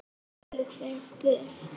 Að ég fer burt.